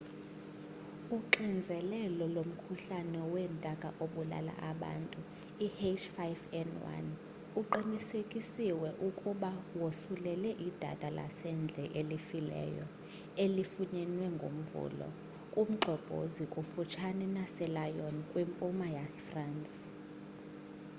uxinzelelo lomkhuhlane weentaka obulala abantu i-h5n1 uqinisekisiwe ukuba wosulele idada lasendle elifileyo elifunyenwe ngomvulo kumgxobhozo kufutshane naselyon kwimpuma yefrance